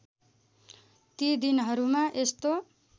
ती दिनहरूमा यस्तो